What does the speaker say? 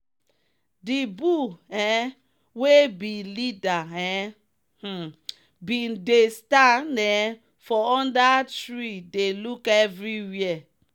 the bull um wey be leader um um bin dey stand um for under tree dey look everybody.